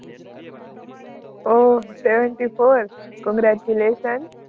oh seventy four congratulation